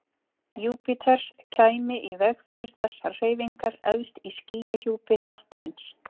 Júpíters kæmi í veg fyrir þessar hreyfingar efst í skýjahjúpi hnattarins.